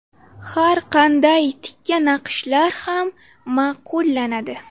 Har qanday tikka naqshlar ham ma’qullanadi.